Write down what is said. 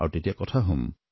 আৰু তেতিয়া কথা হম